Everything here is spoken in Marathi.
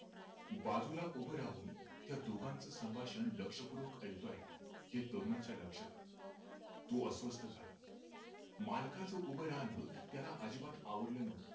बाजूला उभा राहून त्या दोघांच संभाषण लक्षपूर्वक ऐकतो आहे ते तरुणाच्या लक्षात आलं तो अस्वस्थ होता मालकाचं उभं रहाण त्याला अजिबात आवडले नव्हते